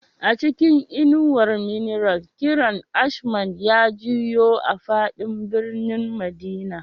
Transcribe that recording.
A cikin inuwar minarat, kiran ashman ya jiyo a fadin birnin madina